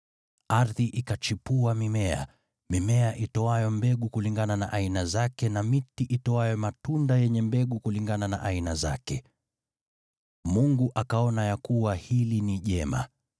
Ardhi ikachipua mimea: Mimea itoayo mbegu kulingana na aina zake, na miti itoayo matunda yenye mbegu kulingana na aina zake. Mungu akaona ya kuwa hili ni jema.